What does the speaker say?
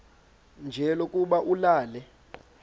nje lokuba ulale